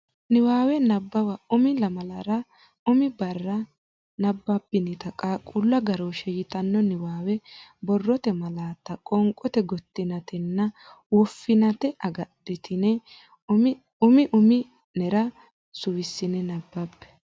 Niwaawe Nabbawa Umi lamalara umi barra nabbabbinita Qaaqquullu Agarooshshe yitanno niwaawe borrote malaatta qoonqote gottinaatenna woffinaate agadhitine umi umi nera suwissine nabbabbe.